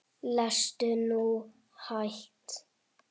Lestu nú hægt!